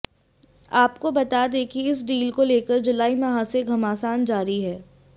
आपको बता दें कि इस डील को लेकर जुलाई माह से घमासान जारी है